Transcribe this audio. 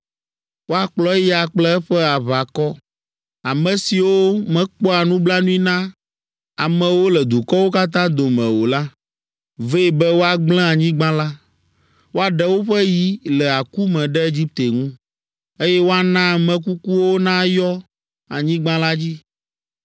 Woakplɔ eya kple eƒe aʋakɔ, ame siwo mekpɔa nublanui na amewo le dukɔwo katã dome o la, vɛ be woagblẽ anyigba la. Woaɖe woƒe yi le aku me ɖe Egipte ŋu, eye woana ame kukuwo nayɔ anyigba la dzi.